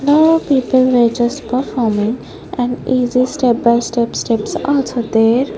more people where just performing and easy step by step steps also there.